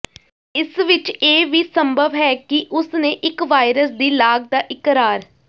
ਇਸ ਵਿਚ ਇਹ ਵੀ ਸੰਭਵ ਹੈ ਕਿ ਉਸ ਨੇ ਇੱਕ ਵਾਇਰਸ ਦੀ ਲਾਗ ਦਾ ਇਕਰਾਰ